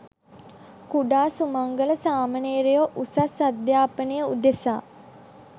කුඩා සුමංගල සාමණේරයෝ උසස් අධ්‍යාපනය උදෙසා